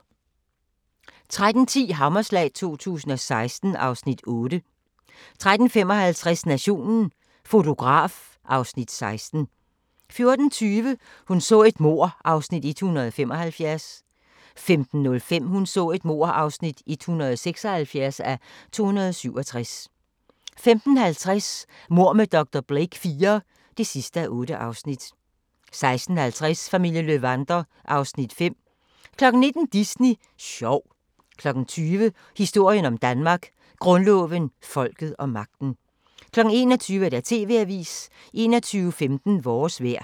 13:10: Hammerslag 2016 (Afs. 8) 13:55: Nationen - fotograf (Afs. 16) 14:20: Hun så et mord (175:267) 15:05: Hun så et mord (176:267) 15:50: Mord med dr. Blake IV (8:8) 16:50: Familien Löwander (Afs. 5) 19:00: Disney sjov 20:00: Historien om Danmark: Grundloven, folket og magten 21:00: TV-avisen 21:15: Vores vejr